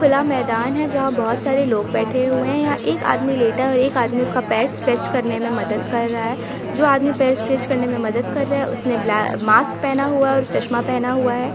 खुला मैदान है जहाँ बहुत सारे लोग बैठे हुए हैं यहाँ एक आदमी लेटा है और एक आदमी उसका पैर स्ट्रेच करने में मदद कर रहा है जो आदमी पैर स्ट्रेच करने में मदद कर रहा है उसने ब आ मास्कक पहना हुआ है और चश्मा पहना हुआ है।